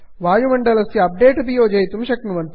वायुमण्डलस्य update अपि योजयितुं शक्नुवन्ति